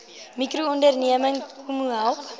mikroonderneming kmmo help